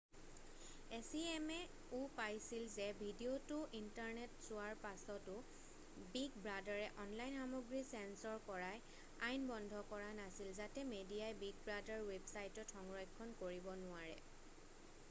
acma-ও পাইছিল যে ভিডিঅ'টো ইণ্টাৰনেটত চোৱাৰ পাছতো বিগ ব্ৰাদাৰে অনলাইন সামগ্ৰীৰ চেঞ্চৰ কৰা আইন বন্ধ কৰা নাছিল যাতে মেডিয়াই বিগ ব্ৰাদাৰ ৱেবছাইটত সংৰক্ষণ কৰিব নোৱাৰে।